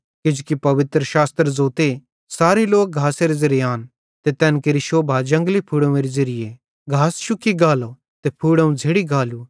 किजोकि पवित्रशास्त्र ज़ोते सारे लोक घासेरे ज़ेरे आन ते तैन केरि शोभा जंगली फूड़ोंवेरी ज़ेरीए घास शुक्की गालो ते फूड़ोंव झ़ेड़ी गालू